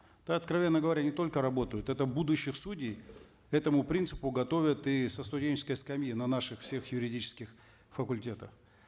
да откровенно говоря не только работают это будущих судей этому принципу готовят и со студенческой скамьи на наших всех юридических факультетах